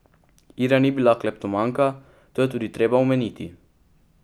Ira ni bila kleptomanka, to je tudi treba omeniti.